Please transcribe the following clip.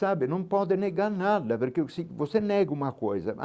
Sabe, não pode negar nada, porque se você nega uma coisa.